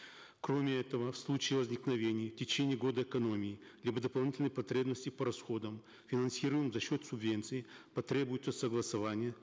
кроме этого в случае возникновения в течение года экономии либо дополнительной потребности по расходам финансируемым за счет субвенций потребуется согласование